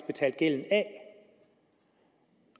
betalt gælden af